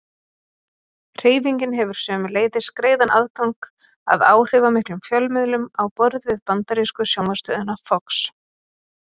Hreyfingin hefur sömuleiðis greiðan aðgang að áhrifamiklum fjölmiðlum á borð við bandarísku sjónvarpsstöðina Fox.